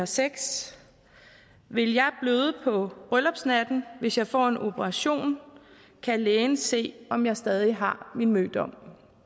sex vil jeg bløde på bryllupsnatten hvis jeg får en operation kan lægen se om jeg stadig har min mødom